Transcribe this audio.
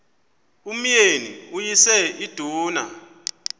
umyeni uyise iduna